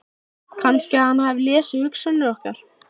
Kannski að hann hafi lesið hugsanir okkar.